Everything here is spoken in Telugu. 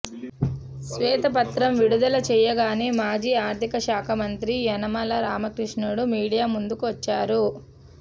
శ్వేతపత్రం విడుదల చేయగానే మాజీ ఆర్థిక శాఖ మంత్రి యనమల రామకృష్ణుడు మీడియా ముందుకు వచ్చారు